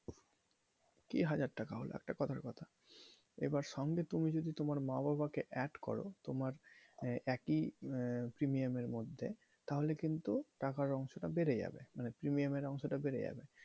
কি হাজার টাকা হলো একটা কথার কথা, এবার সঙ্গে তুমি যদি তোমার মা বাবা কে add করো তোমার একই আহ premium এর মধ্যে তাহলে কিন্তু টাকার অংশ টা বেড়ে যাবে মানে premium এর অংশ টা বেড়ে যাবে।